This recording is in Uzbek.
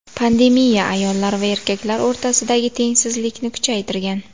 Pandemiya ayollar va erkaklar o‘rtasidagi tengsizlikni kuchaytirgan.